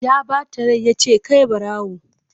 Ya bata rai ya ce 'kai barawo!'